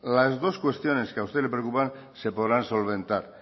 las dos cuestiones que a usted le preocupan se podrán solventar